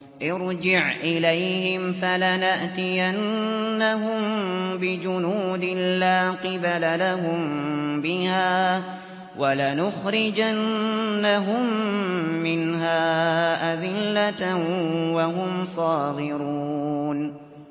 ارْجِعْ إِلَيْهِمْ فَلَنَأْتِيَنَّهُم بِجُنُودٍ لَّا قِبَلَ لَهُم بِهَا وَلَنُخْرِجَنَّهُم مِّنْهَا أَذِلَّةً وَهُمْ صَاغِرُونَ